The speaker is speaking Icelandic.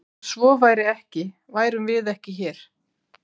Ef svo væri ekki værum við ekki hér!